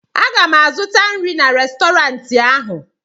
m ga-azụta nri n'Restọrantị ahụ